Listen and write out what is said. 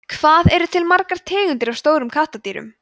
hvað eru til margar tegundir af stórum kattardýrum